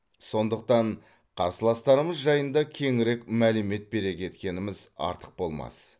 сондықтан қарсыластарымыз жайында кеңірек мәлімет бере кеткеніміз артық болмас